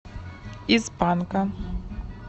из панка